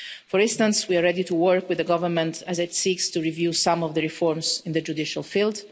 For instance, we are ready to work with the government as it seeks to review some of the reforms in the judicial field.